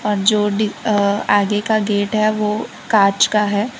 और जो डी अह आगे का गेट है वो कांच का है।